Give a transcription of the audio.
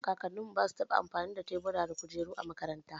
Kakanninmu ba su taɓa amfani da kujeru da tebura a makaranta ba.